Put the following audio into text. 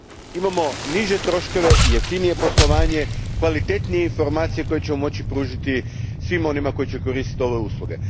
Imamo niže troškove, jeftinije poslovanje, kvalitetnije informacije koje ćemo moći pružiti svima onima koji će koristiti ove usluge.